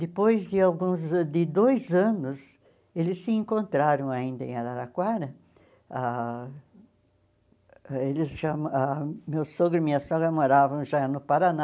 Depois de alguns de dois anos, eles se encontraram ainda em Araraquara, ah eles já mo ah meu sogro e minha sogra moravam já no Paraná,